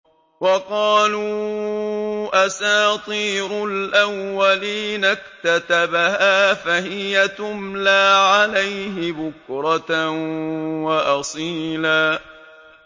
وَقَالُوا أَسَاطِيرُ الْأَوَّلِينَ اكْتَتَبَهَا فَهِيَ تُمْلَىٰ عَلَيْهِ بُكْرَةً وَأَصِيلًا